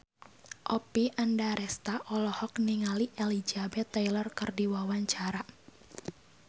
Oppie Andaresta olohok ningali Elizabeth Taylor keur diwawancara